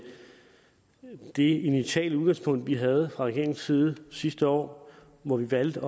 det initiale udgangspunkt vi havde fra regeringens side sidste år hvor vi valgte